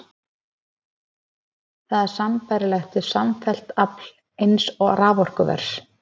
Það er sambærilegt við samfellt afl eins raforkuvers.